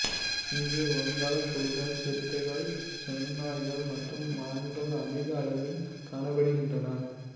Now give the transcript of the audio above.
இங்கு வங்காளப் புலிகள் சிறுத்தைகள் செந்நாய்கள் மற்றும் மான்கள் அதிக அளவில் காணப்படுகின்றன